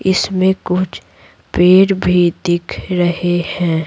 इसमें कुछ पेड़ भी दिख रहे हैं।